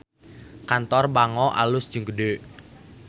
Kantor Bango alus jeung gede